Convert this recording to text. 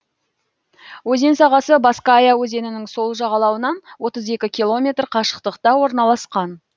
өзен сағасы баская өзенінің сол жағалауынан отыз екі километр қашықтықта орналасқан